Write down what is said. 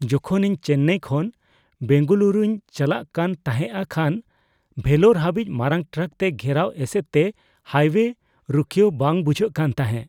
ᱡᱚᱠᱷᱚᱱ ᱤᱧ ᱪᱮᱱᱱᱟᱭ ᱠᱷᱚᱱ ᱵᱮᱝᱜᱟᱞᱩᱨᱩᱧ ᱪᱟᱞᱟᱜ ᱠᱟᱱ ᱛᱟᱦᱮᱸᱜᱼᱟ ᱠᱷᱟᱱ ᱵᱷᱮᱞᱳᱨ ᱦᱟᱹᱵᱤᱡᱽ ᱢᱟᱨᱟᱝ ᱴᱨᱟᱠ ᱛᱮ ᱜᱷᱮᱨᱟᱣ ᱮᱥᱮᱫ ᱛᱮ ᱦᱟᱭᱼᱳᱭᱮ ᱨᱩᱠᱷᱤᱭᱟᱹᱣ ᱵᱟᱝ ᱵᱩᱡᱷᱟᱹᱜ ᱠᱟᱱ ᱛᱟᱦᱮᱸᱜ ᱾